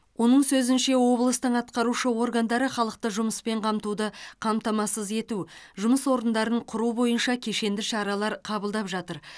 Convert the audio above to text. оның сөзінше облыстың атқарушы органдары халықты жұмыспен қамтуды қамтамасыз ету жұмыс орындарын құру бойынша кешенді шаралар қабылдап жатыр